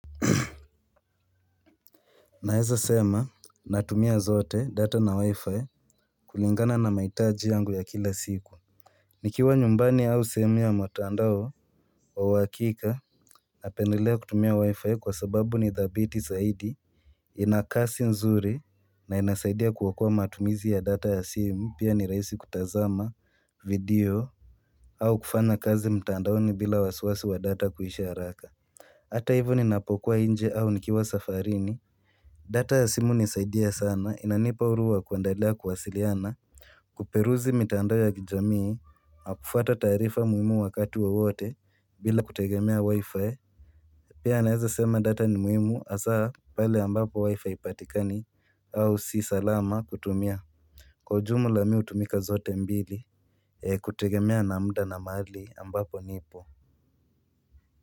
Naeza sema natumia zote data na wi-fi kulingana na mahitaji yangu ya kila siku Nikiwa nyumbani au sehemu ya mtandao wa uhakika napendelea kutumia wi-fi kwa sababu ni dhabiti zaidi Inakasi nzuri na inasaidia kuokoa matumizi ya data ya simu pia ni rahisi kutazama video au kufanya kazi mtandaoni bila wasiwasi wa data kuisha haraka Hata hivyo ninapokuwa nje au nikiwa safarini data ya simu hunisaidia sana inanipa huru wa kuendelea kuwasiliana Kuperuzi mitandao ya kijamii na kufuata taarifa muhimu wakati wa wote bila kutegemea wi-fi Pia naeza sema data ni muhimu hasa pale ambapo wi-fi haipatikani au si salama kutumia Kwa ujumla mi hutumika zote mbili kutegemea na muda na mahali ambapo nipo.